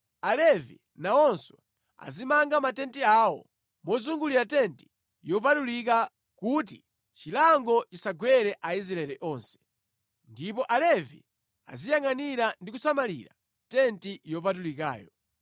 Alevi nawonso, azimanga matenti awo mozungulira tenti yopatulika kuti chilango chisagwere Aisraeli onse. Ndipo Alevi aziyangʼanira ndi kusamalira tenti yopatulikayo.”